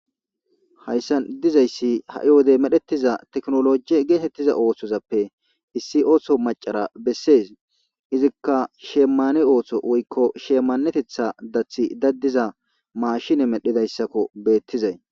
Hayssan dizayssi ha'i wodey medhettiza teknoloji geetettiza oohthozappe issi oohso macara bessees izikka shemmane oohsho woykko sheemanetetha dathi daddiza maashine medhidayssakko beettizay.